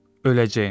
Öləcəyəm.